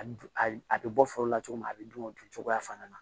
A dun a bɛ bɔ foro la cogo min na a bɛ dun o dun cogoya fana na